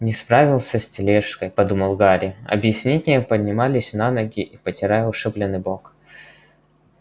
не справился с тележкой подумал гарри объяснение поднимаясь на ноги и потирая ушибленный бок